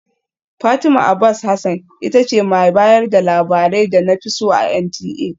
Fatima Abbas Hasan ita ce mai bayar da labarai da na fi so a NTA